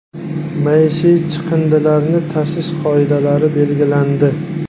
Maishiy chiqindilarni tashish qoidalari belgilandi.